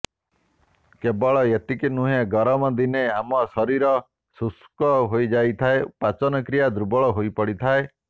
କେବଳ ଏତିକି ନୁହେଁ ଗରମ ଦିନେ ଆମ ଶରୀର ଶୁଷ୍କ ହୋଇଯାଇଥାଏ ପାଚନ କ୍ରିୟା ଦୁର୍ବଳ ହୋଇପଡ଼ିଥାଏ